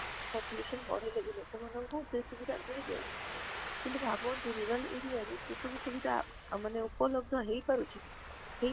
population ବଢିଲେ ବି ଲୋକମନଙ୍କୁ ସେଇ ସୁବିଧା ମିଳି ଯାଉଛି କିନ୍ତୁ ଭାବନଟିଉ rural area ର ସେ ସବୁ ଉପଲବ୍ଧ ହେଇ ପାରୁଛି କି ହେଇ